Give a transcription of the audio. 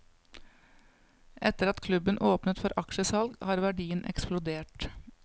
Etter at klubben åpnet for aksjesalg har verdien eksplodert.